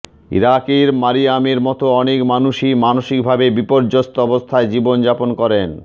ইরাকে মারিয়ামের মত অনেক মানুষই মানসিকভাবে বিপর্যস্ত অবস্থায় জীবনযাপন করেন